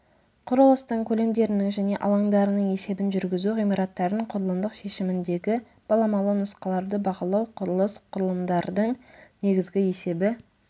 құрылыстың көлемдерінің және алаңдарының есебін жүргізу ғимараттардың құрылымдық шешіміндегі баламалы нұсқаларды бағалау құрылыс құрылымдардың негізгі есебі